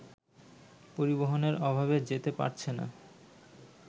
পরিবহনের অভাবে যেতে পারছেনা